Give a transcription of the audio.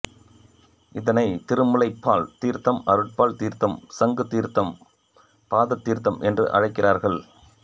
இதனைத் திருமுலைப்பால் தீர்த்தம் அருட்பால் தீர்த்தம் சங்கு தீர்த்தம் பாதத்தீர்த்தம் என்று அழைக்கிறார்கள்